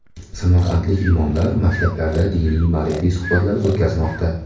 Samarqandlik imomlar maktablarda diniy-ma’rifiy suhbatlar o‘tkazmoqda.